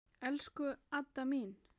Elsku Adda amma mín.